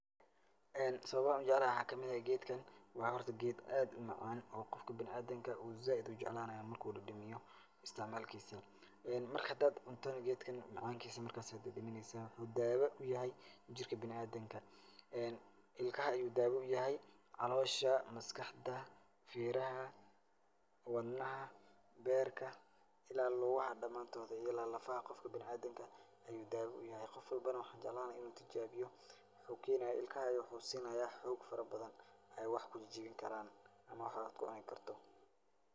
Ee sababaha aan u jeclahan geedkan waxaa kamid ah; waa horta geed aad u macaan oo qofka bina'aadinka uu zaaid u jeclaanaayo marka uu dhadhamiyo istacmaalkisa, marka hadaad cuntana geedkan macaankiisa markas ayaa dhadhamineysa, waxuu daawo u yahay jirka bina'aadinka, ilkaha ayuu daawo u yahay, caloosha ,maskaxda, feeraha, wadnaha, beerka ila lugaha dhamaantod, iyo ila lafaha qofka bina'aadinka ayuu daawo u yahay. Qof walbana ,waxaan jeclaan lahaa in uu tijaabiyo. Waxuu keenaaya, ilkaha ayuu xoog siinaayaa xoog farabadan ay wax ku jijibinkaraan ama wax aad ku cuni karto.